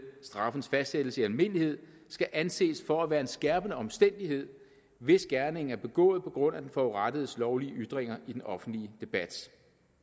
straffens fastsættelse i almindelighed skal anses for at være en skærpende omstændighed hvis gerningen er begået på grund af den forurettedes lovlige ytringer i den offentlige debat